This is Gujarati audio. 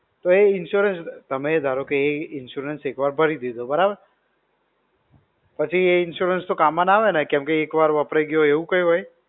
તો એ insurance. તમે ધારો કે એ insurance એક વાર ભરી દીધો, બરાબર. પછી તો એ insurance કામ માં ના આવે ને, કેમ સે એક વાર વપરાઈ ગયો હોય એવું કઈ હોય?